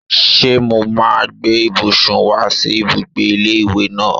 Ṣé mo máa gbé ibùsùn wá sí ibùgbé ilé ìwé náà?